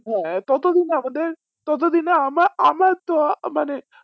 হ্যাঁ ততো দিনে আমাদের ততো দিনে আমার আমার তো আহ মানে